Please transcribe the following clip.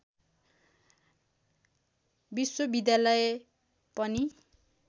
विश्वविद्यालय पनि